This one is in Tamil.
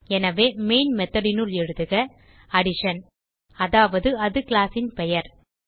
எனவே மெயின் methodனுள் எழுதுக அடிஷன் அதாவது அது கிளாஸ் பெயர்